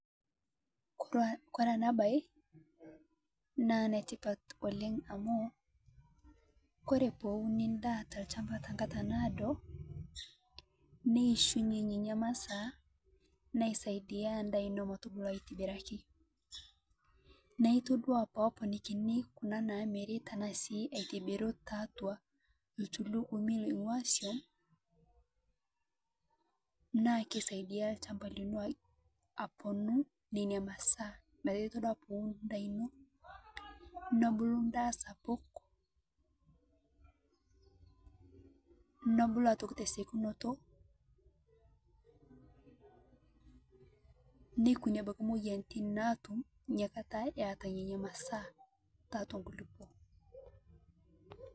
Kore ena baye naa netipaat oleng amu kore poo uuni ndaa to lchambaa te nkaata nadoo, nieshunye nenia masaa naisaidia ndaa metobuluu aitibiraki. Naa etodua poo oponikinii kuna namiiri tana sii aitubiruu te atua aitulukumii naing'ua soum naa keisaidia lchambaa niloo aponuu nenia masaa. Metaa etodua poo uun ndaa enoo nebuluu ndaa sapuk. Nobuluu aitokii te sekuunoto neekunii abaki moyianitin naatuum enia nkaatai eeta nenia masaa te atua nkulupoo.